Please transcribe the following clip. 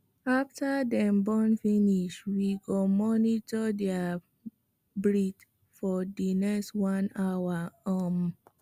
after them born finish we go monitor their breath for the next 1 hour um